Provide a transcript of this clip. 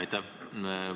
Aitäh!